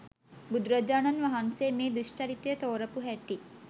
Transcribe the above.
බුදුරජාණන් වහන්සේ මේ දුෂ්චරිතය තෝරපු හැටි